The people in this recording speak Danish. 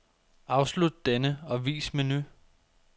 Afslut denne og vis menu.